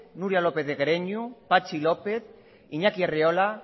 nuria lópez de gereñu patxi lópez iñaki arriola